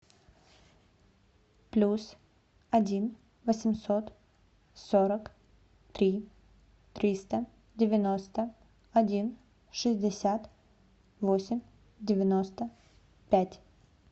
плюс один восемьсот сорок три триста девяносто один шестьдесят восемь девяносто пять